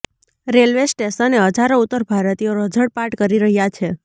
railway સ્ટેશને હજારો ઉત્તર ભારતીયો રઝળપાટ કરી રહ્યાં છે